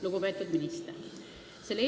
Lugupeetud minister!